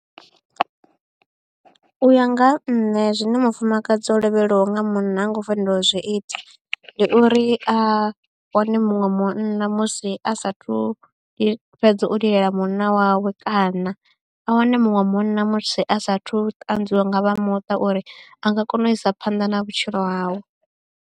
U ya nga ha nṋe zwine mufumakadzi o lovhelwaho nga munna ha ngo u fanela u zwi ita ndi uri a wane muṅwe munna musi a sa thu fhedza u lilela munna wawe kana a wane muṅwe munna musi a saathu ṱanzwiwa nga vha muṱa uri a nga kona u isa phanḓa na vhutshilo hawe.